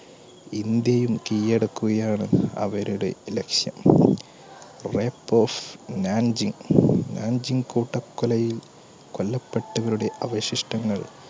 ഇന്ത്യയും കീഴടക്കുകയാണ് അവരുടെ ലക്ഷ്യം കൂട്ടക്കൊലയിൽ കൊല്ലപ്പെട്ടവരുടെ അവശിഷ്ടങ്ങൾ